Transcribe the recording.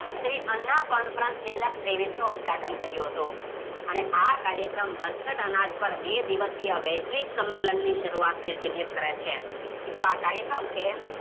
Shri Anna conference બે હાજર ત્રેવીસનું ઉદ્ઘાટન કર્યું હતું અને આ કાર્યક્રમ બરછટ અનાજ પાર બે દિવસય વૈશ્વિક સંમેલનની શરૂઆત કરે છે મિત્રો આ કાર્યક્રમ